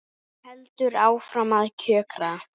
Hún heldur áfram að kjökra.